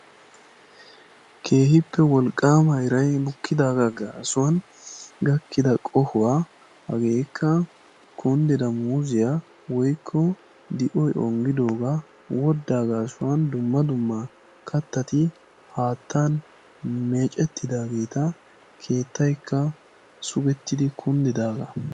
Keehippe wolqqaama iray bukkidaaga gaasuwan gakkida qohuwaa hageekka kundida muuziya woykko di'oy ongidooga, woddaa gaasuwan dumma dumma kattati haattan meeccettidaageeta, keettayikka sugettidi kundidaaga.